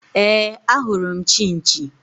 Éè, ahụrụ m Chinchi